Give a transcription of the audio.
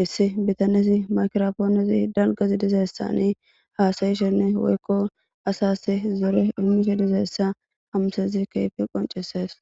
hissi bitanezi makropoonesi dalgazi dizaessani haasayishenne woykko asas zere himike dizeessa hamsezi keyfe qoncesees